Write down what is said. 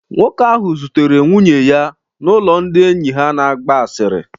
Nwoke ahụ zutere nwunye ya n'ụlọ ndị enyi ha na-agba asịrị